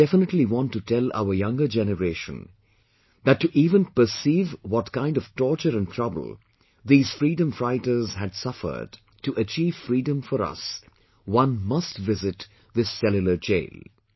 I would definitely want to tell our younger generation that to even perceive what kind of torture and trouble these freedom fighters had suffered to achieve freedom for us one must visit this Cellular Jail